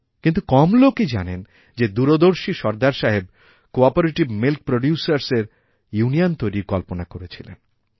কিন্তু কম লোকই জানেন যে দূরদর্শী সরদার সাহেব কোঅপারেটিভমিল্ক প্রোডিউসারসএর ইউনিয়ন তৈরির কল্পনা করেছিলেন